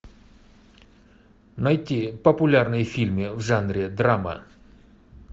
найти популярные фильмы в жанре драма